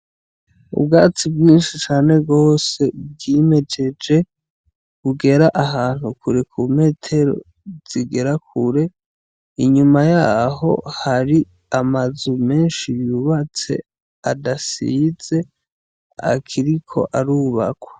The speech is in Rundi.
Ubwatsi bwinshi cane gose bwimejeje, bugera ahantu kure ku metero zigera kure, inyuma yaho hari amazu menshi yubatse adasize akiriko arubakwa.